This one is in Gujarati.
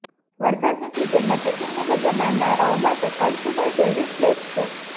વરસાદની સીઝનમાં ટ્રેકિંગની મજા માણનારાઓ માટે કળસુબાઈ ફેવરિટ પ્લેસ છે